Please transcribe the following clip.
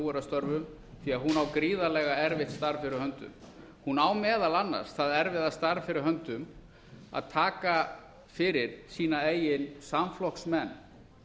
er að störfum því hún á gríðarlega erfitt starf fyrir höndum hún á meðal annars það erfiða starf fyrir höndum að taka fyrir sína eigin samflokksmenn